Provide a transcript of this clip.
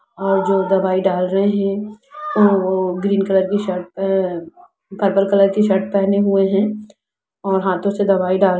और जो दवाई डाल रहे है ओ ग्रीन कलर की शर्ट पे पे अ पर्पल कलर की शर्ट पहने हुए है और हाथो से दवाई डाल --